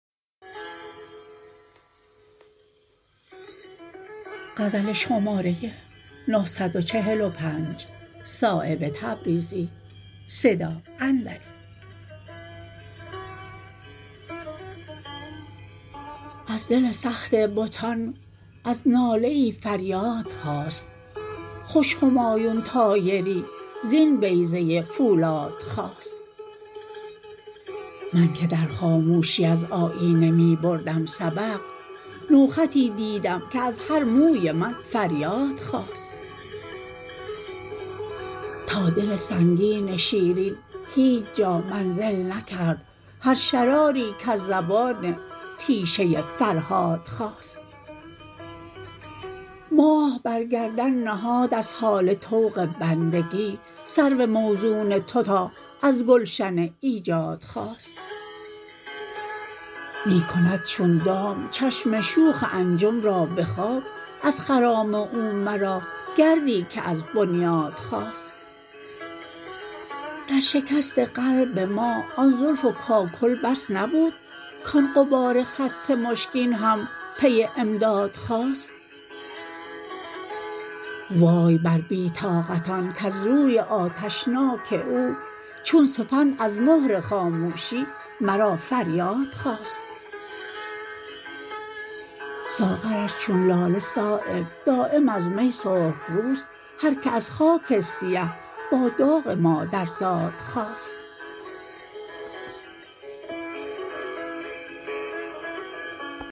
از دل سخت بتان از ناله ای فریاد خاست خوش همایون طایری زین بیضه فولاد خاست من که در خاموشی از آیینه می بردم سبق نوخطی دیدم که از هر موی من فریاد خاست تا دل سنگین شیرین هیچ جا منزل نکرد هر شراری کز زبان تیشه فرهاد خاست ماه بر گردن نهاد از هاله طوق بندگی سرو موزون تو تا از گلشن ایجاد خاست می کند چون دام چشم شوخ انجم را به خاک از خرام او مرا گردی که از بنیاد خاست در شکست قلب ما آن زلف و کاکل بس نبود کان غبار خط مشکین هم پی امداد خاست وای بر بی طاقتان کز روی آتشناک او چون سپند از مهر خاموشی مرا فریاد خاست ساغرش چون لاله صایب دایم از می سرخ روست هر که از خاک سیه با داغ مادرزاد خاست